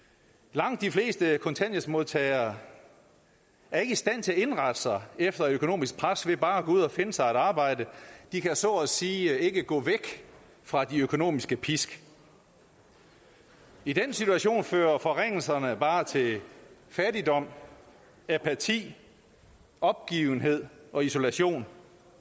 langt de fleste kontanthjælpsmodtagere er ikke i stand til at indrette sig efter et økonomisk pres ved bare at gå ud og finde sig at arbejde de kan så at sige ikke gå væk fra de økonomiske pisk i den situation fører forringelserne bare til fattigdom apati opgivenhed og isolation